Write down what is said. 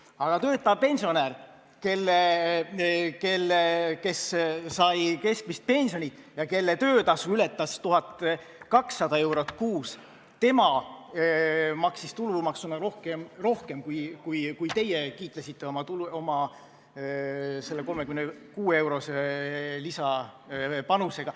Aga töötav pensionär, kes sai keskmist pensioni ja kelle töötasu ületas 1200 eurot kuus, maksis tulumaksuna rohkem kui teie, kes te kiitlesite oma 36-eurose lisapanusega.